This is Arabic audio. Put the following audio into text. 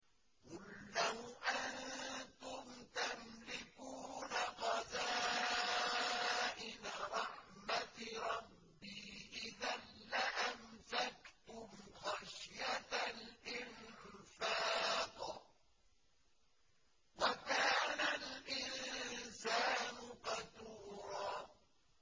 قُل لَّوْ أَنتُمْ تَمْلِكُونَ خَزَائِنَ رَحْمَةِ رَبِّي إِذًا لَّأَمْسَكْتُمْ خَشْيَةَ الْإِنفَاقِ ۚ وَكَانَ الْإِنسَانُ قَتُورًا